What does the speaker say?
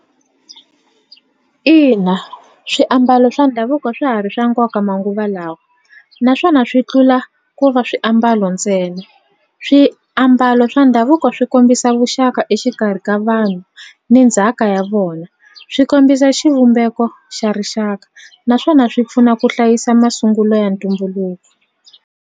Ina swiambalo swa ndhavuko swa ha ri swa nkoka manguva lawa naswona swi tlula ku va swiambalo ntsena swiambalo swa ndhavuko swi kombisa vuxaka exikarhi ka vanhu ni ndzhaka ya vona swi kombisa xivumbeko xa rixaka naswona swi pfuna ku hlayisa masungulo ya ntumbuluko.